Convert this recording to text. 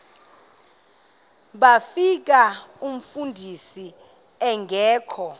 bafika umfundisi engekho